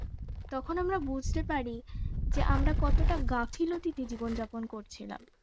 তখন আমরা বুঝতে পারি যে আমরা কতটা গাফিলতি তে জীবন যাপন করছিলাম